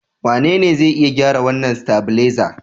Wanene zai iya gyara wannan stavilizer?